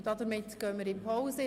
Damit gehen wir in die Pause.